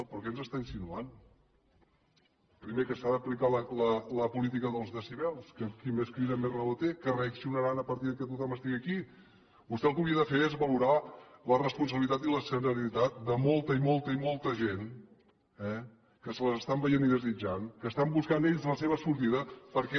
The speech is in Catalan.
però què ens està insinuant primer que s’ha d’aplicar la política dels decibels que qui més crida més raó té que reaccionaran a partir que tothom estigui aquí vostè el que hauria de fer és valorar la responsabilitat i la serenitat de molta i molta i molta gent eh que se les estan veient i desitjant que estan buscant ells la seva sortida perquè